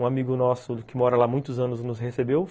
Um amigo nosso que mora lá há muitos anos nos recebeu.